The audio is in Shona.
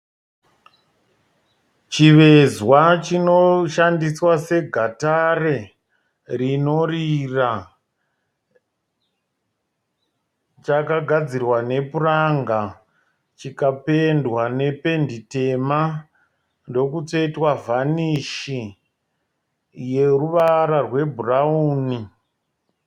Chivezwa chinoshandiswa segatare rinorira. Chakagadzirwa nepuranga chikapendwa nependi tema ndokutsvetwa vhanishi yeruvara rwebhurauni.